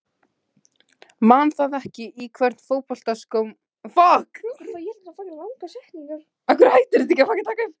Man það ekki Í hvernig fótboltaskóm spilar þú?